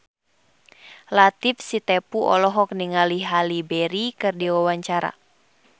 Latief Sitepu olohok ningali Halle Berry keur diwawancara